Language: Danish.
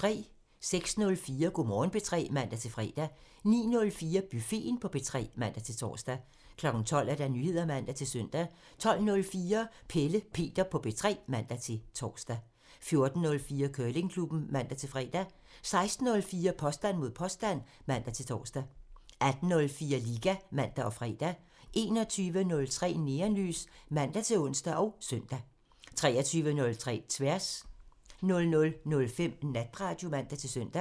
06:04: Go' Morgen P3 (man-fre) 09:04: Buffeten på P3 (man-tor) 12:00: Nyheder (man-søn) 12:04: Pelle Peter på P3 (man-tor) 14:04: Curlingklubben (man-fre) 16:04: Påstand mod påstand (man-tor) 18:04: Liga (man og fre) 21:03: Neonlys (man-ons og søn) 23:03: Tværs (man) 00:05: Natradio (man-søn)